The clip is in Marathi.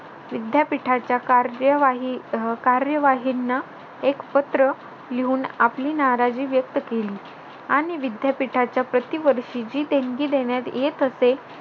विद्यापीठाच्या कार्यवा अह कार्यवाहीना एक पत्र लिहून आपली नाराजगी व्यक्त केली आणि विद्यापीठाच्या प्रतिवर्षी जी देणगी देण्यात येत असे